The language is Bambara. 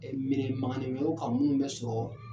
Ɛɛ minɛ kan munnu bɛ sɔrɔ